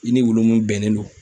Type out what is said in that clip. I ni wulu mun bɛnnen don